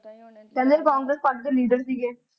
ਪਹਿਲੇ ਉਹ congress party ਦੇ leader ਸੀਗੇ